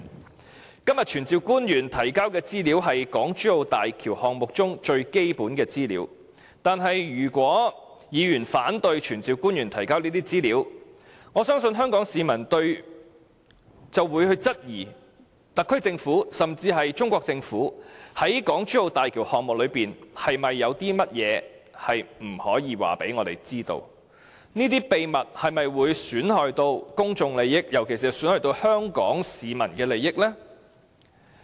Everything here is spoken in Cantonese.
今天議案要求傳召官員提交的資料是港珠澳大橋項目中最基本的資料，但如果議員反對傳召官員提交這些資料，我相信香港市民便會質疑特區政府甚至中國政府在港珠澳大橋項目中有不可告人的秘密，這些秘密會否損害公眾利益，尤其是損害香港市民的利益呢？